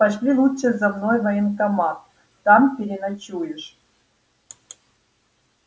пошли лучше за мной в военкомат там переночуешь